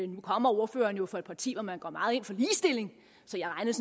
nu kommer ordføreren jo fra et parti hvor man går meget ind for ligestilling så jeg regnede